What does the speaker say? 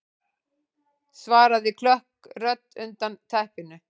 svaraði klökk rödd undan teppinu.